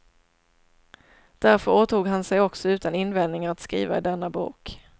Därför åtog han sig också utan invändningar att skriva i denna bok.